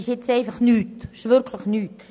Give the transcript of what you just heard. Eine Orientierung ist wirklich nichts;